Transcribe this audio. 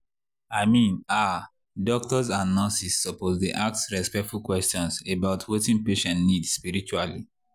i mean ah doctors and nurses suppose dey ask respectful questions about wetin patient need spiritually.